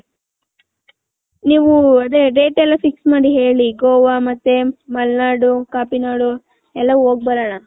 ನೀವು ಅದೇ rate ಎಲ್ಲಾ fix ಮಾಡಿ ಹೇಳಲಿ ಗೋವ ಮತ್ತೆ ಮಲ್ನಾಡ್ ಕಾಪಿ ನಾಡ್ ಎಲ್ಲಾ ಹೋಗ್ ಬರಣ .